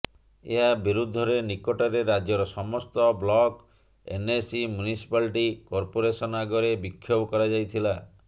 ଏହା ବିରୁଦ୍ଧରେ ନିକଟରେ ରାଜ୍ୟର ସମସ୍ତ ବ୍ଲକ ଏନ୍ଏସି ମ୍ୟୁନିସିପାଲିଟି କର୍ପୋରେସନ୍ ଆଗରେ ବିକ୍ଷୋଭ କରାଯାଇଥିଲା